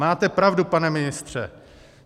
Máte pravdu, pane ministře.